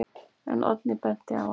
En Oddný benti á að: